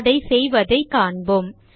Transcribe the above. அதை செய்வதைக் காண்போம்